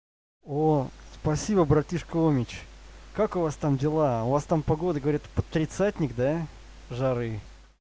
о спасибо братишка омич как у вас там дела у вас там погода говорят под тридцатник да жары